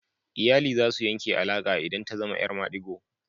Iyali za su yanke alaka idan ta zama 'yar madigo.